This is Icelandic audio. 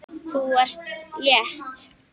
Þú ert létt!